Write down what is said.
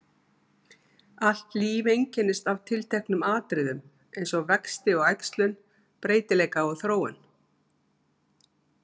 Allt líf einkennist af tilteknum atriðum eins og vexti og æxlun, breytileika og þróun.